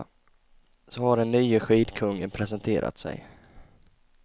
Så har den nye skidkungen presenterat sig.